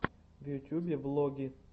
в ютюбе влоги